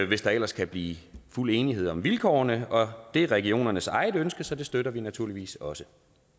hvis der ellers kan blive fuld enighed om vilkårene og det er regionernes eget ønske så det støtter vi naturligvis også